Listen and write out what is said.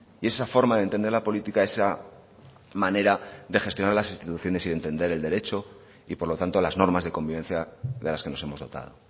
y esa forma de entender la política esa manera de gestionar las instituciones y de entender el derecho y por lo tanto las normas de convivencia de las que nos hemos dotado